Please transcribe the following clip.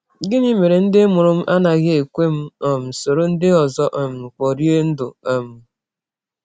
Gịnị Mere Ndị Mụrụ m Anaghị Ekwe M um Soro Ndị Ọzọ um Kporie Ndụ um?